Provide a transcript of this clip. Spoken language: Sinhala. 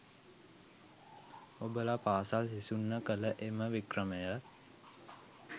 ඔබල පාසල් සිසුන්ව කල එම වික්‍රමය